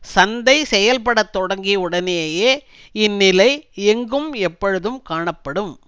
சந்தை செயல்பட தொடங்கிய உடனேயே இந்நிலை எங்கும் எப்பொழுதும் காணப்படும்